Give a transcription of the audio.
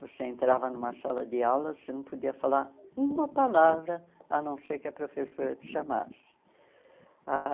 Você entrava numa sala de aula, você não podia falar uma palavra, a não ser que a professora te chamasse ah.